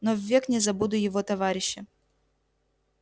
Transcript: но ввек не забуду его товарища